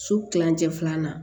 Su kilancɛ filanan